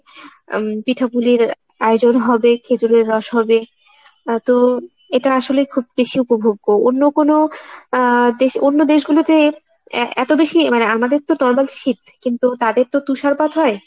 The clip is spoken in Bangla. উম পিঠাফুলির আয়োজন হবে খেজুরের রস হবে আহ তো এটা আসলে খুব বেশি উপভোগ্য। অন্য কোনো আহ দেশ অন্য দেশগুলোতে এ~ এতো বেশি মানে আমাদেরতো শীত কিন্তু তাদেরতো তুষারপাত হয় ।